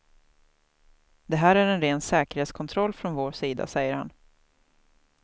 Det här är en ren säkerhetskontroll från vår sida, säger han.